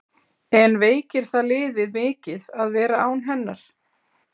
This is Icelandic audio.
En veikir það liðið mikið að vera án hennar?